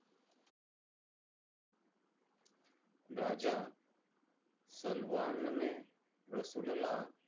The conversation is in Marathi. राजा सलवान ने रसूल ला